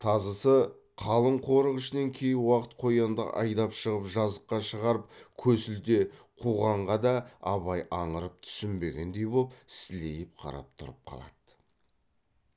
тазысы қалың қорық ішінен кей уақыт қоянды айдап шығып жазыққа шығарып көсілте қуғанға да абай аңырып түсінбегендей боп сілейіп қарап тұрып қалады